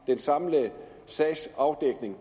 den samlede sag